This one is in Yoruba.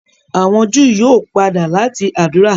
àwọn Júù yíò pàdà lati ádùrá.